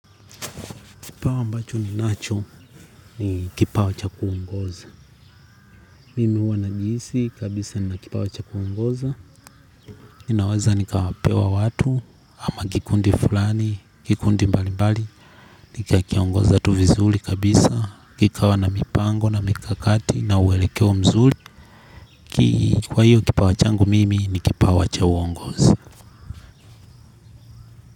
Kipawa mbacho ni nacho ni kipawa cha kuongoza. Mimi huwa najihisi kabisa nina kipawa cha kungoza. Ninaweza nikapewa watu ama kikundi fulani, kikundi mbali mbali. Nika kiongoza tu vizuri kabisa. Kikawa na mipango na mikakati na uelekeo mzuri. Kwa hiyo kipawa changu mimi ni kipawa cha uongozi.